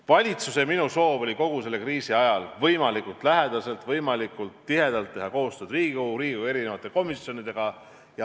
Valitsuse ja minu soov oli kogu selle kriisi ajal võimalikult lähedaselt, võimalikult tihedalt teha koostööd Riigikoguga, Riigikogu komisjonidega.